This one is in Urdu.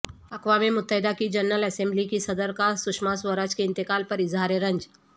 اقوام متحدہ کی جنرل اسمبلی کی صدر کا سشماسوراج کے انتقال پر اظہار رنج